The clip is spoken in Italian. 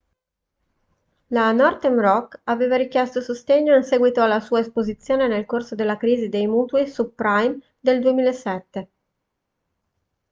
la northern rock aveva richiesto sostegno in seguito alla sua esposizione nel corso della crisi dei mutui subprime del 2007